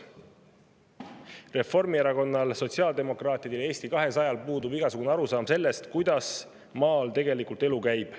Reformierakonnal, sotsiaaldemokraatidel ja Eesti 200‑l puudub igasugune arusaam sellest, kuidas maal tegelikult elu käib.